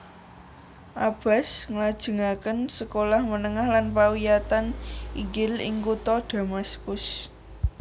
Abbas nglajengaken sekolah menengah lan pawiyatan inggil ing kutha Damaskus